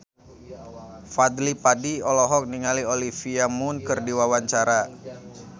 Fadly Padi olohok ningali Olivia Munn keur diwawancara